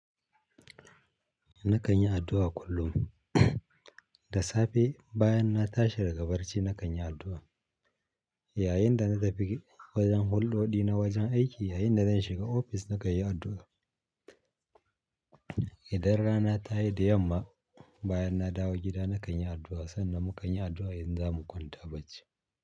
Na kan yi addu'a kullum. Da safe bayan na tashi daga barci na kan yi addu'a. Yayinda na tafi wajen hulɗoɗi na wajen aiki yayinda zan shiga ofis na kan yi addu'a. Idan rana ta yi da yamma, bayan na dawo gida na kan yi addu'a, sannan mu kan yi addu'a idan za mu kwanta bacci.